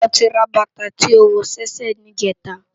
Nibó ló ti rá bata tó wò si èsè nijètá?